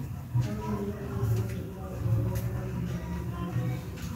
kane onimo kilomita apar gi ariyo kowuok e boma ma Nairobi